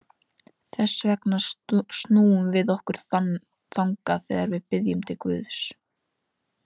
Þess vegna snúum við okkur þangað þegar við biðjum til Guðs.